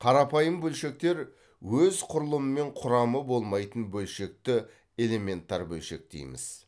қарапайым бөлшектер өз құрылымы мен құрамы болмайтын бөлшекті элементар бөлшек дейміз